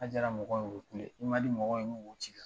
N'a diyara mɔgɔw ye , u bɛ kule. I man di mɔgɔw ye, o bɛ wo c'i la.